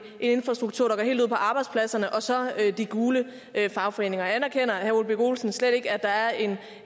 infrastruktur der går helt ud på arbejdspladserne og så de gule fagforeninger anerkender herre ole birk olesen slet ikke at der er en